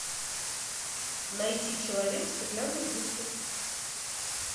найти человек в стеклянной будке